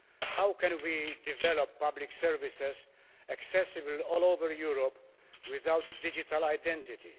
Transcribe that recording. How can we develop public services accessible all over Europe without a digital identity?